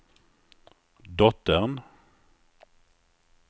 dottern